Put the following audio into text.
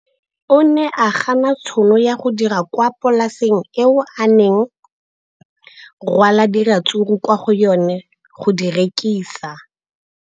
O ne a gana tšhono ya go dira kwa polaseng eo a neng rwala diratsuru kwa go yona go di rekisa.